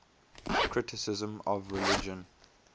criticism of religion